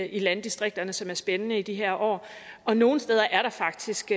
i landdistrikterne som er spændende i de her år og nogle steder er der faktisk